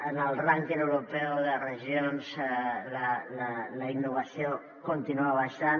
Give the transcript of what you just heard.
en el rànquing europeu de regions la innovació continua baixant